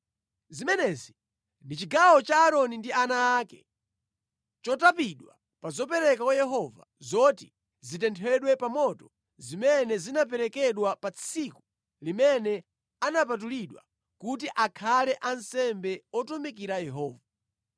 Zimenezi ndi chigawo cha Aaroni ndi ana ake chotapidwa pa zopereka kwa Yehova zoti zitenthedwe pa moto zimene zinaperekedwa pa tsiku limene anapatulidwa kuti akhale ansembe otumikira Yehova.